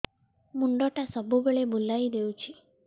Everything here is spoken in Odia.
ମୁଣ୍ଡଟା ସବୁବେଳେ ବୁଲେଇ ଦଉଛି